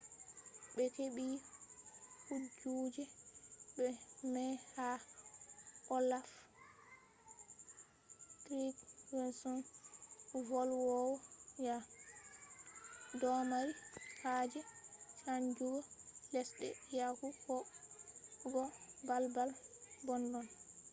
be hebi kujeji mai ha olaf trygvsson, volwowo yare norway domari haje chanjugo lesde yahu go balbal boddon